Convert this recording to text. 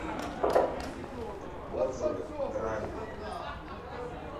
отзывы грань